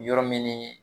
Yɔrɔ min ni